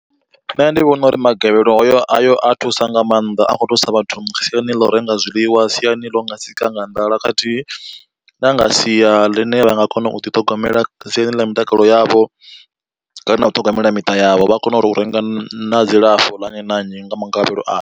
Nṋe ndi vhona uri magavhelo ayo a thusa nga maanḓa a kho thusa vhathu siani ḽa u renga zwiḽiwa, siani ḽau nga sika nga nḓala, khathihi na nga sia ḽine vha nga kona u ḓiṱhogomela siani ḽa mitakalo yavho kana u ṱhogomela miṱa yavho, vha kona uri u renga na dzilafho ḽa nnyi na nnyi nga magavhelo ayo.